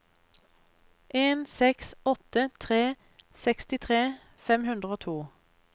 en seks åtte tre sekstitre fem hundre og to